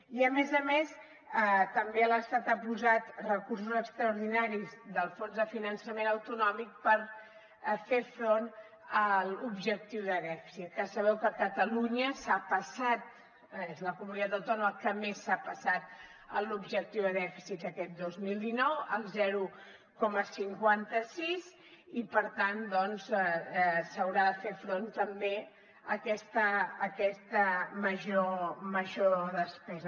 i a més a més també l’estat ha posat recursos extraordinaris del fons de finançament autonòmic per fer front a l’objectiu de dèficit que sabeu que catalunya és la comunitat autònoma que més s’ha passat en l’objectiu de dèficit aquest dos mil dinou el zero coma cinquanta sis i per tant doncs s’haurà de fer front també a aquesta major despesa